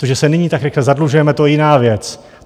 To, že se nyní tak rychle zadlužujeme, to je jiná věc.